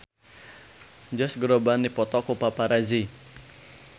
Josh Groban dipoto ku paparazi